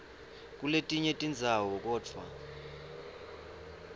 kuletinye tindzawo kodvwa